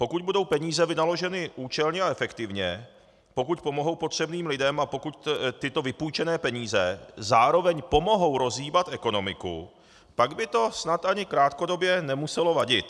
Pokud budou peníze vynaloženy účelně a efektivně, pokud pomohou potřebným lidem a pokud tyto vypůjčené peníze zároveň pomohou rozhýbat ekonomiku, pak by to snad ani krátkodobě nemuselo vadit.